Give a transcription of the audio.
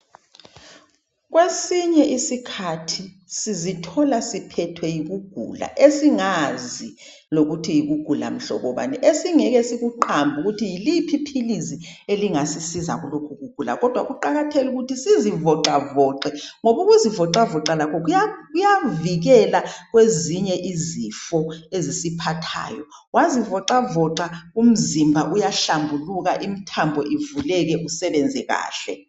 Kwesinye isikhathi sizithola siphethwe yikugula esingazi lokuthi yikugula mhlobo bani esingeke sikuqambe ukuthi yiliphi iphiillisi elingasisiza kulokhu kugula kodwa kuqakathekile ukuthi sizivoxavoxe ngoba ukuzivoxavoxa lakho kuyavikela kwezinye izifo ezisiphathayo. Wazivoxavoxa umzimba uyahlambuluka imithambo ivuleke usebenze kahle.